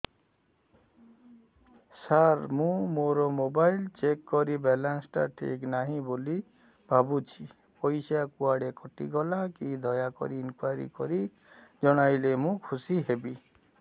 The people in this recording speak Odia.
ସାର ମୁଁ ମୋର ମୋବାଇଲ ଚେକ କଲି ବାଲାନ୍ସ ଟା ଠିକ ନାହିଁ ବୋଲି ଭାବୁଛି ପଇସା କୁଆଡେ କଟି ଗଲା କି ଦୟାକରି ଇନକ୍ୱାରି କରି ଜଣାଇଲେ ମୁଁ ଖୁସି ହେବି